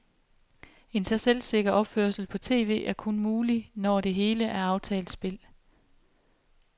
En så selvsikker opførsel på tv er kun mulig, når det hele er aftalt spil.